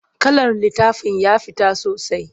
Kalar littafin ya fita sosai.